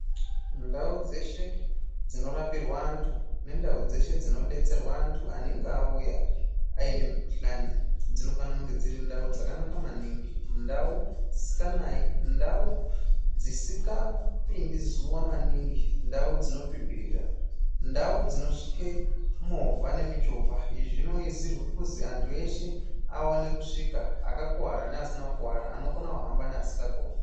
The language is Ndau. Ndau dzeshe dzinorapirwe anthu nendau dzeshe dzinodetserwe anthu anenge auya aine mikhuhlani dzinofanire kunga dzakanaka maningi. Ndau dzisindganai ndaudzisikapindi zuwa maningi, ndau dzinopipirira ,ndau dzinosvike movha nemichovha. Izvi zvinoizirwe kuzwi anthu eshe aone kusvika, akakuwara neasina kukuwara anokone kuhamba neasikakoni.